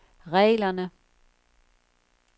reglerne